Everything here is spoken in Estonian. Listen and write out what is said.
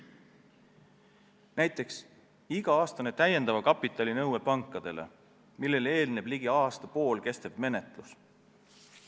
Näiteks iga-aastane täiendava kapitali nõue pankadele, millele eelneb ligi aasta kestev menetlus.